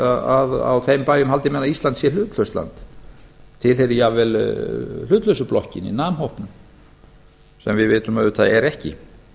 að á þeim bæjum haldi menn að ísland sé hlutlaust land tilheyri jafnvel hlutlausu blokkinni nam hópnum sem við vitum auðvitað að er ekki